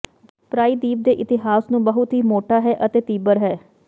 ਪ੍ਰਾਇਦੀਪ ਦੇ ਇਤਿਹਾਸ ਨੂੰ ਬਹੁਤ ਹੀ ਮੋਟਾ ਹੈ ਅਤੇ ਤੀਬਰ ਹੈ